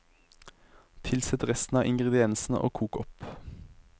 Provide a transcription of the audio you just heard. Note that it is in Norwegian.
Tilsett resten av ingrediensene og kok opp.